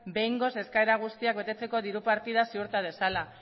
behingoz eskaera guztiak betetzeko diru partida ziurta dezala